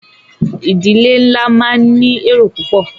Ìdílé nlá máa ní èrò púpọ̀.